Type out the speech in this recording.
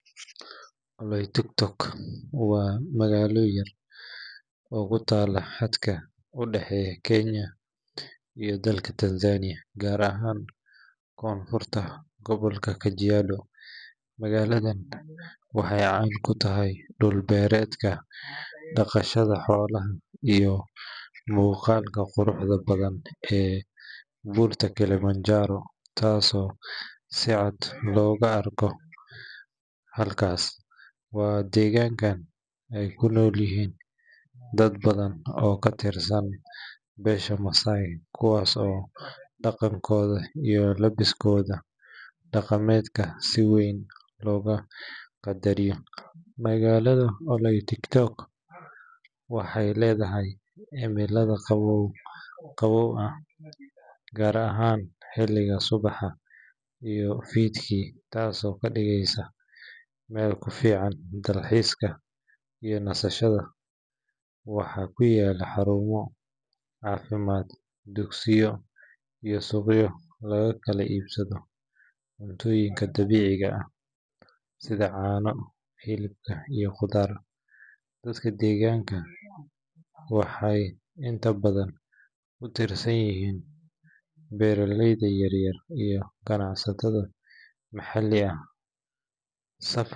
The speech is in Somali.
Oloitokitok waa magaalo yar oo ku taalla xadka u dhexeeya Kenya iyo dalka Tanzania, gaar ahaan koonfurta gobolka Kajiado. Magaaladan waxay caan ku tahay dhul-beereedka, dhaqashada xoolaha, iyo muuqaalka quruxda badan ee Buurta Kilimanjaro, taasoo si cad looga arko halkaas. Waa deegaan ay ku nool yihiin dad badan oo ka tirsan beesha Maasai, kuwaas oo dhaqankooda iyo labiskooda dhaqameed si wayn looga qadariyo. Magaalada Oloitokitok waxay leedahay cimilada qabow-qabow ah, gaar ahaan xilliga subaxa iyo fiidkii, taasoo ka dhigaysa meel ku fiican dalxiiska iyo nasashada. Waxaa ku yaalla xarumo caafimaad, dugsiyo, iyo suuqyo lagu kala iibsado cuntooyinka dabiiciga ah sida caano, hilib iyo khudaar. Dadka deegaanka waxay inta badan ku tiirsan yihiin beeraleyda yaryar iyo ganacsatada maxalliga ah.